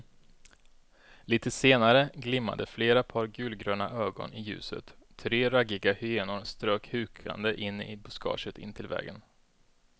Litet senare glimmade flera par gulgröna ögon i ljuset, tre raggiga hyenor strök hukande in i buskaget intill vägen.